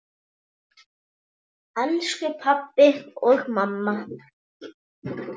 Elsku pabbi og mamma.